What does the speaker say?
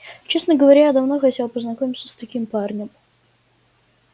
честно говоря я давно хотела познакомиться с таким парнем